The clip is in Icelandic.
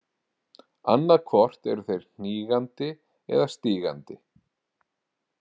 Annað hvort eru þeir hnígandi eða stígandi.